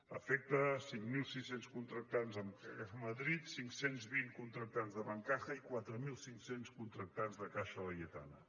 afecta cinc mil sis cents contractants amb caja madrid cinc cents i vint contractants de bancaja i quatre mil cinc cents contractants de caixa laietana